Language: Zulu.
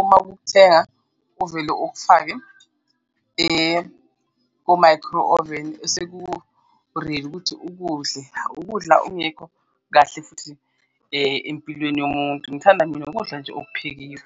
uma ukuthenga ovele okufake ko-micro oven eseku-ready ukuthi ukudle, ukudla ongekho kahle futhi empilweni yomuntu, ngithanda mina ukudla nje okuphekiwe.